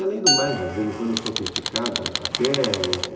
E além do mais, de vez em quando eu sou criticado, até em